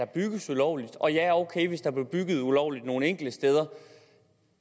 bygges ulovligt og ja ok hvis der er blevet bygget ulovligt nogle enkelte steder